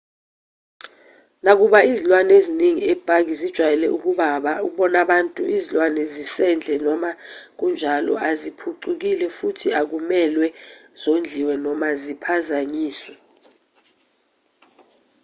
nakuba izilwane eziningi epaki zijwayele ukubona abantu izilwane zasendle noma kunjalo aziphucukile futhi akumelwe zondliwe noma ziphazanyiswe